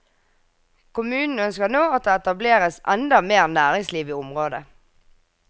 Kommunen ønsker nå at det etableres enda mer næringsliv i området.